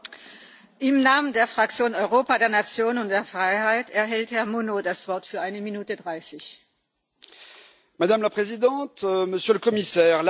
Madame la Présidente, Monsieur le Commissaire, la lutte contre les fuites des recettes fiscales des multinationales, notamment les multinationales américaines de l'économie numérique, est la priorité absolue du Front national.